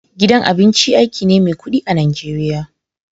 Gidan abinci aiki ne mai kudi a'Nijeriya.